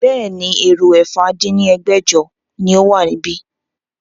Bẹ́ẹ̀ni, èrò ẹ̀fà dín ní ẹgbẹ́jọ ni ó wà níbí